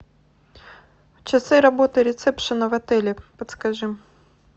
часы работы рецепшена в отеле подскажи